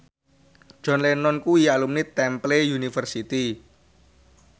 John Lennon kuwi alumni Temple University